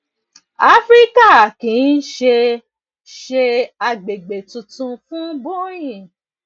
àfíríkà kì í ṣe ṣe àgbègbè tuntun fún boeing